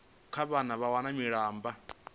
kha vhane vha wana malamba